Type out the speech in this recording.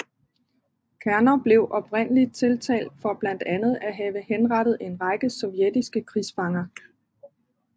Kerner blev oprindeligt tiltalt for blandt andet at have henrettet en række sovjetiske krigsfanger